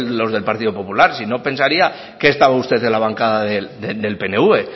los del partido popular sino pensaría que estaba usted en la bancada del pnv